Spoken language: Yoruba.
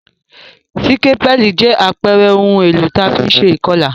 Sikapẹli jẹ àpere oun èlò ti a fi n se ìkolà